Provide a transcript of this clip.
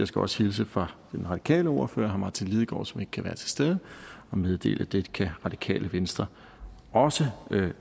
skal også hilse fra den radikale ordføre herre martin lidegaard som ikke kan være til stede og meddele at det kan radikale venstre også